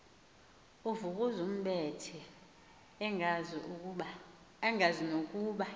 uvukuzumbethe engazi nokuba